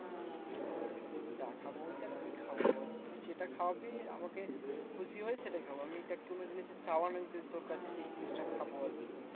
যা খাবো বলতে আর কি খাবো? তুই যেটা খাওয়াবি আমাকে খুশি হয়ে সেটাই খাবো। আমি দেখ কোনো জিনিসে চাওয়া নেই যে, তোর কাছে যে এই জিনিসটা খাবো আরকি।